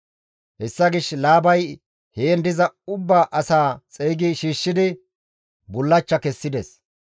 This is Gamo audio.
Hessa gishshas Laabay heen diza ubba asaa xeygi shiishshidi, bullachcha kessides.